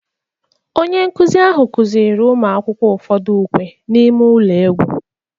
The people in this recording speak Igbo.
Onye nkụzi ahụ kụziiri ụmụ akwụkwọ ụfọdụ ukwe n'ime ụlọ egwu